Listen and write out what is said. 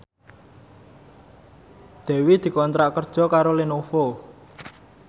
Dewi dikontrak kerja karo Lenovo